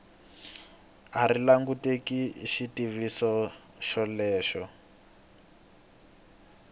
a ri langutele xitiviso xolexo